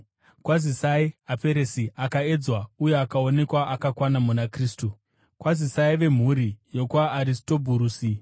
Kwazisai Aperesi, akaedzwa uye akaonekwa akakwana muna Kristu. Kwazisai vemhuri yokwaAristobhurusi.